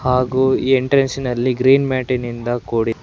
ಹಾಗು ಎಂಟ್ರನ್ಸ್ ಇನಲ್ಲಿ ಗ್ರೀನ್ ಮ್ಯಾಟಿನಿಂದ ಕೂಡಿದೆ.